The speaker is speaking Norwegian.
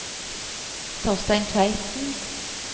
Torstein Tveiten